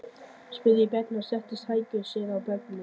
spurði Bjarni og settist á hækjur sér hjá barninu.